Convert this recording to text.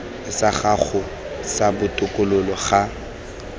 sa gago sa botokololo ga